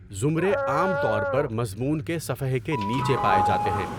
زمرے عام طور پر مضمون کے صفحے کے نیچے پائے جاتے ہیں۔